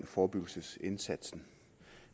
forebyggelsesindsatsen